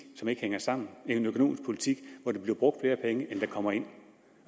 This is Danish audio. som ikke hænger sammen en økonomisk politik hvor der bliver brugt flere penge end der kommer ind